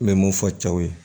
N bɛ mun fɔ cɛw ye